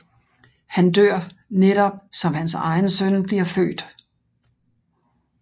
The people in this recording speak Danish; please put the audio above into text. Han dør netop som hans egen søn bliver født